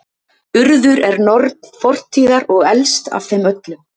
urður er norn fortíðar og elst af þeim öllum